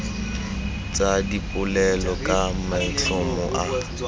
tsa dipolelo ka maitlhomo a